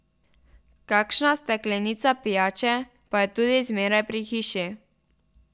Kakšna steklenica pijače pa je tudi zmeraj pri hiši.